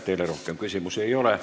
Teile rohkem küsimusi ei ole.